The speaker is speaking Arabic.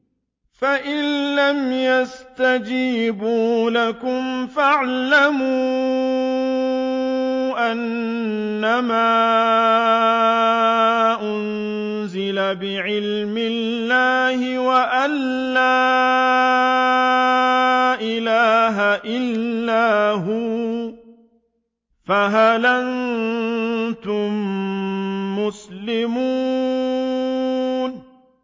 فَإِلَّمْ يَسْتَجِيبُوا لَكُمْ فَاعْلَمُوا أَنَّمَا أُنزِلَ بِعِلْمِ اللَّهِ وَأَن لَّا إِلَٰهَ إِلَّا هُوَ ۖ فَهَلْ أَنتُم مُّسْلِمُونَ